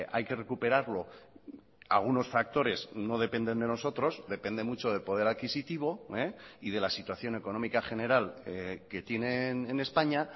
hay que recuperarlo algunos factores no dependen de nosotros depende mucho del poder adquisitivo y de la situación económica general que tienen en españa